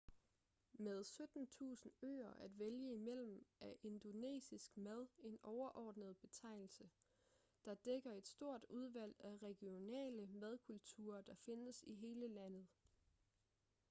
med 17.000 øer at vælge imellem er indonesisk mad en overordnet betegnelse der dækker et stort udvalg af regionale madkulturer der findes i hele landet